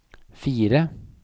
fire